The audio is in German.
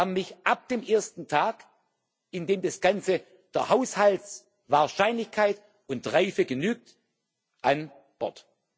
Sie haben mich ab dem ersten Tag, in dem das Ganze der Haushaltswahrscheinlichkeit und reife genügt, an Bord.